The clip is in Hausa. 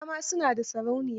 Gara ma su na da sarauniya.